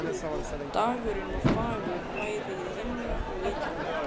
Dagurinn var fagur bæði hið innra og ytra.